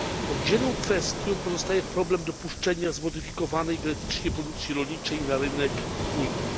Oddzielną kwestią pozostaje problem dopuszczenia zmodyfikowanej genetycznie produkcji rolniczej na rynek Unii.